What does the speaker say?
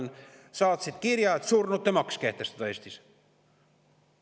Nad saatsid kirja, et surnute maks kehtestada Eestis.